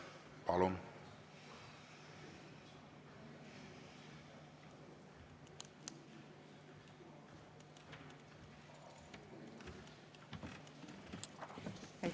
Palun!